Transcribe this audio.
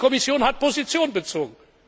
Die Kommission hat Position bezogen.